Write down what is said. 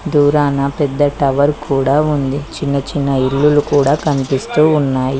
దూరాన పెద్ద టవర్ కూడా ఉంది చిన్నచిన్న ఇల్లులు కూడా కనిపిస్తూ ఉన్నాయి.